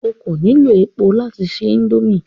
O ko nilo epo lati se indomie